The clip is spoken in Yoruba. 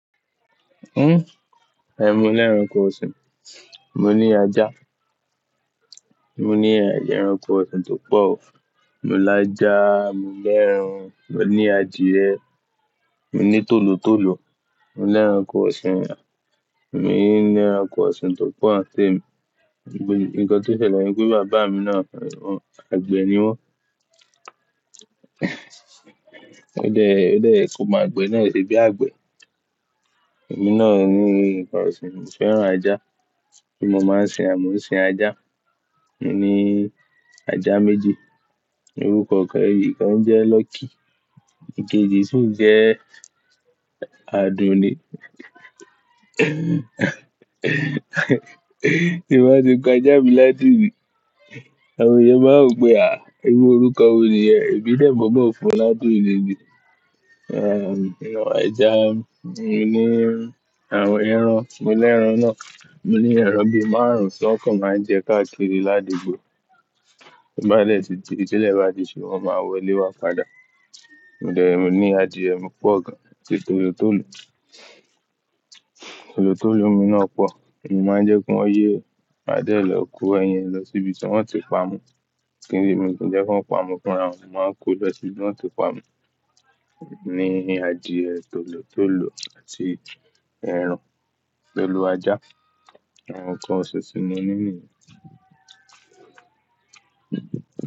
Ẹ̀n, mo lẹ́ran nkan ọṣìn. Mo ní ajá, mo ní ẹrankọ ọṣìn tó pọ̀. Mo lá ajá, mo lẹ́ran, mo ní adìyẹ, mo ní tòlótòló, mo lẹ́rankọ ọṣìn now, e emi ní lẹrankọ ọṣìn tó pọ̀ nitemi, nǹkan tí ó ṣẹlẹ̀ ni pé bàbá mi náà on on, àgbẹ̀ ni wọ́n. Ó de, ó de ye komo agbẹ náà ṣe bí àgbẹ̀. Ẹ̀mí náà ni nǹkan ọ̀ṣìn, mo fẹ́ràn ajá, bí mo máa ń ṣe à, mò ń ṣe ajá. Mo ní ajá méje. Orúkọ kàn ikan jẹ́ Lucky, ìkéje sì jẹ́ Àdùnní. Èwo nikán ti ko já mi láti bì. Àwọn ènìyàn máa ń pè a, "iru orúkọ wo nìyẹn?" Èmi dẹ́momo fún e láti oni nì. Ajá, mo ní ẹran, mo lẹ́ran náà, mo ní ẹran bí márùn-ún tí wọn kàn máa ń jẹ káàkiri lá dugbo. Bá dẹ̀ tí, tí ilé bá di ṣú, wọ́n máa wọlé wá padà. Mo dẹ́, mo ní adìẹ mi pọ̀ gan, tòlótòló, tòlótòló mi náà pọ̀. Èmi máa ń jẹ́ kí wọ́n yé adé lọ kó ẹyin lọ síbi tí wọ́n ti pa mo. Kíni èmi kì í jẹ́ kí wọn pa mo fúnrawon, mo máa ń kó lọ sí ibi tí wọ́n ti pa mo. Mo ní adìẹ tòlótòló àti ẹran pẹ̀lú ajá. Àwọn nǹkan ọ̀ṣin timo ní nìyẹn.